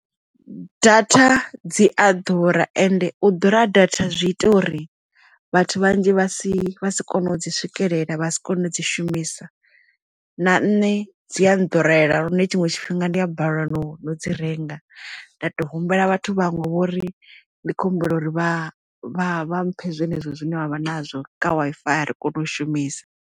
Data dzi a ḓura ende u ḓura ha data zwi ita uri vhathu vhanzhi vha si vha si kone u dzi swikelela vha si kone dzi shumisa na nṋe dzi a nḓurela lune tshiṅwe tshifhinga ndi a balelwa no dzi renga nda tou humbela vhathu vhaṅwe vho uri ndi khou humbela uri vha vha vha mphe zwenezwo zwine vhavha nazwo kha Wi-Fi ya ri kone u shumisa.